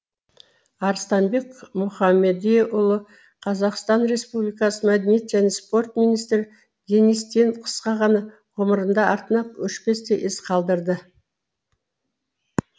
арыстанбек мұхамедиұлы қр мәдениет және спорт министрі денис тен қысқа ғана ғұмырында артына өшпестей із қалдырды